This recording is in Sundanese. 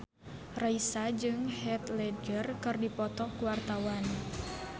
Raisa jeung Heath Ledger keur dipoto ku wartawan